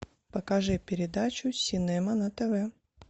покажи передачу синема на тв